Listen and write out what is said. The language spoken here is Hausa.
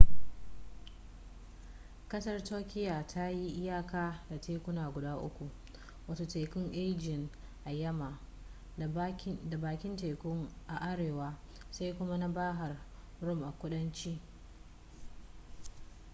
kasar turkiya ta yi iyaka da tekuna guda uku wato tekun aegean a yamma da bakin teku a arewa sai kuma na bahar rum a kudanci